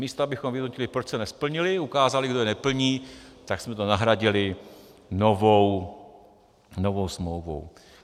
Místo abychom vyhodnotili, proč se nesplnily, ukázali, kdo je neplní, tak jsme to nahradili novou smlouvou.